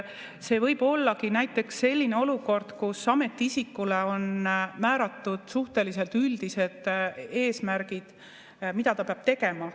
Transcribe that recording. See võib olla näiteks selline olukord, kus ametiisikule on määratud suhteliselt üldised eesmärgid, mida ta peab tegema.